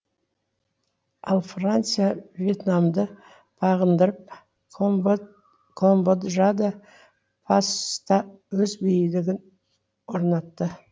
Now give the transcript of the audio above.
ал франция въетнамды бағындырып камбоджада паста өз билігін орнатты